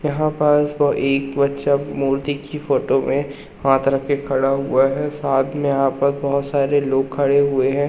यहां पास वो एक बच्चा मूर्ति की फोटो में हाथ रख के खड़ा हुआ है साथ में यहां पर बहुत सारे लोग खड़े हुए हैं।